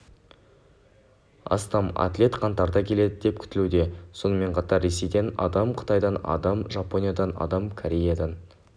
астам атлет қаңтарда келеді деп күтілуде сонымен қатар ресейден адам қытайдан адам жапониядан адам кореядан